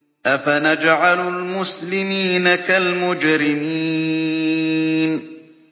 أَفَنَجْعَلُ الْمُسْلِمِينَ كَالْمُجْرِمِينَ